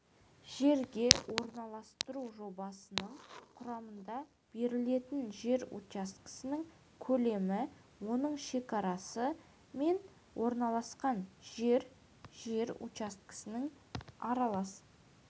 жерге орналастыру жобасының құрамында берілетін жер учаскесінің көлемі оның шекарасы мен орналасқан жер жер учаскесінің аралас